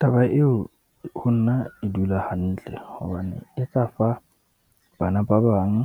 Taba eo ho nna e dula hantle hobane e tla fa bana ba bang